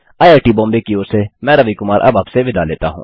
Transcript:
IIT Mumbai की ओर से मैं रवि कुमार अब आपसे विदा लेता हूँ